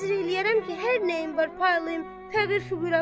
Nəzr eləyərəm ki, hər nəyim var, paylayım fəqir-füqəraya.